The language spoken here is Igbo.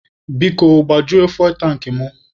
Biko, gbajuo fuwel tankị mụ.